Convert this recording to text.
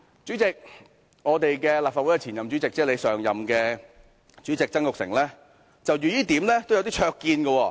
主席，立法會前任主席曾鈺成就這點也有些灼見。